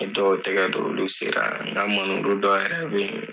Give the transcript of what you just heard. dɔw tɛgɛ don olu sera nka dɔ yɛrɛ bɛ yen.